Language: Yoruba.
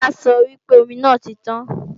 Tola sọ wípé omi náà ti tàn